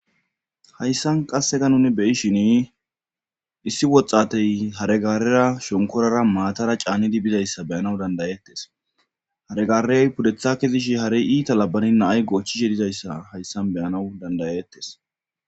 Hayssan qasseka nuni beyishin issi woxxatey haregaarera shonkorara maatara caannidi bizayssa beyanaw dandayettes haregarey pudethakezishi harey iita labani nay goochchi shedizayssa hayssan beyanaw dandayettes.